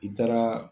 I taara